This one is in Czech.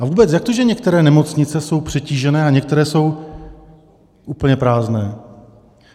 A vůbec, jak to, že některé nemocnice jsou přetížené a některé jsou úplně prázdné?